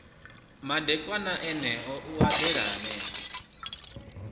madekwana eneo u eḓela henefho